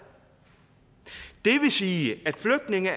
sige at flygtninge